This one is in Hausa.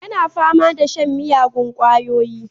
Yana fama da shan miyagun kwayoyi